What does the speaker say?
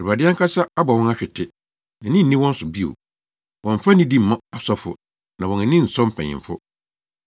Awurade ankasa abɔ wɔn ahwete; nʼani nni wɔn so bio. Wɔmmfa nidi mma asɔfo, na wɔn ani nsɔ mpanyimfo.